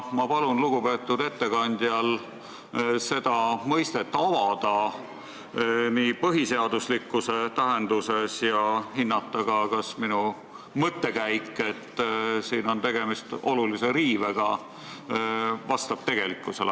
Ma palun lugupeetud ettekandjal seda mõistet avada põhiseaduslikkuse tähenduses ja hinnata ka, kas minu mõttekäik, et siin on tegemist olulise riivega, vastab tegelikkusele.